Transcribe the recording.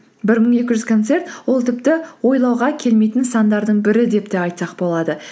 бір мың екі жүз концерт ол тіпті ойлауға келмейтін сандардың бірі деп те айтсақ болады